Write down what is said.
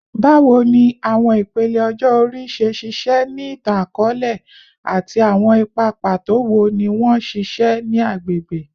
Bawo ni awọn ipele ọjọ ori ṣe ṣiṣẹ ni itan-akọọlẹ, ati awọn ipa pato wo ni wọn ṣiṣẹ ni agbegbe?